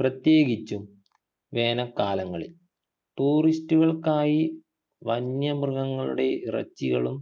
പ്രത്യേകിച്ചും വേനൽക്കാലങ്ങളിൽ tourist കൾക്കായി വന്യമൃഗങ്ങളുടെ ഇറച്ചികളും